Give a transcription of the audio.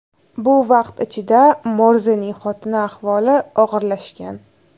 Bu vaqt ichida Morzening xotini ahvoli og‘irlashgan.